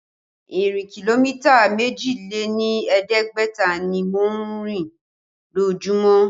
Ìrìn kìlómítà méjì lé ní ẹ̀ẹ́dẹ́gbẹ̀ta ni mò ń rìn lójumo